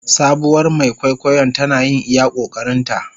Sabuwar Mai kwaikwayon tana yin iya ƙoƙarinta.